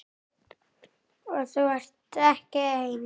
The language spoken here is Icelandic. Og þú ert ekki einn.